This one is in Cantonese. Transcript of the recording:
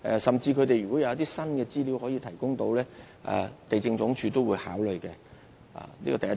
甚至如果他們能夠提供一些新的資料，地政總署也會考慮，這是第一點。